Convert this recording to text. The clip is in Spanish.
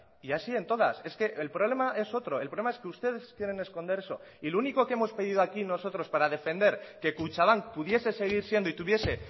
y así en todas es que el problema es otro el problema es que ustedes quieren esconder eso y lo único que hemos pedido aquí nosotros para defender que kutxabank pudiese seguir siendo y tuviese